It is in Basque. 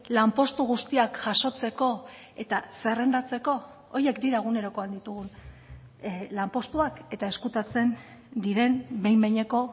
lanpostu guztiak jasotzeko eta zerrendatzeko horiek dira egunerokoan ditugun lanpostuak eta ezkutatzen diren behin behineko